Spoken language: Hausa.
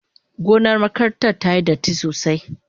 Gonar makarantar tayi datti sosai.